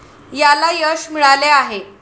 याला यश मिळाले आहे.